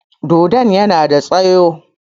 Dodon yana da tsaƴo.